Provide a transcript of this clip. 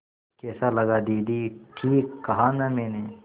कैसा लगा दीदी ठीक कहा न मैंने